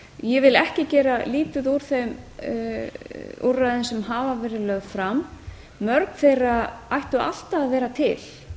ég vil ekki gera lítið úr þeim úrræðum sem hafa verið lögð fram mörg þeirra ættu alltaf að vera til